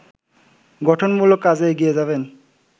গঠনমূলক কাজে এগিয়ে যাবেন